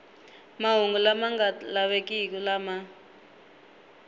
mahungu lama nga lavekiki lama